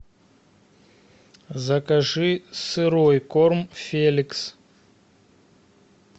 закажи сырой корм феликс